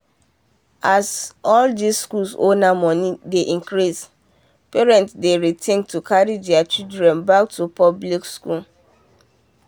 as all these school owner money dey increase parent dey rethink to carry there children back to public school.